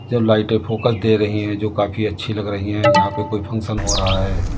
जो लाइटे फ़ोकस दे रही हैं जो काफी अच्छी लग रही है यहां पे कोई फंक्शन हो रहा है।